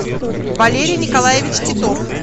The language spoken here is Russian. валерий николаевич титов